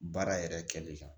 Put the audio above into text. Baara yɛrɛ kɛli kan